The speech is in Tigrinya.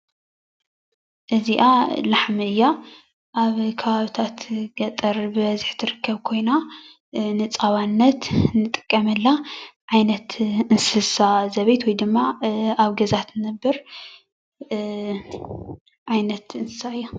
እዚኣ ላሕሚ እያ። ኣብ ከባብታት ገጠር ብበዝሒ ትርከብ ኮይና ንፃባነት እንጥቀመላ ዓይነት እንስሳ ዘቤት ወይ ድማ ኣብ ገዛ ትነብር ዓይነት እንስሳ እያ ፡፡